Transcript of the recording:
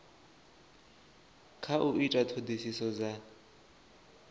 kha u ita ṱhoḓisiso dza